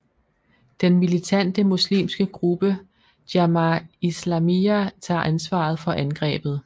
Den militante muslimske gruppe Jamaa Islamyya tager ansvaret for angrebet